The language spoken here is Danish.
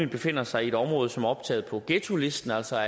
befinder sig i et område som er optaget på ghettolisten altså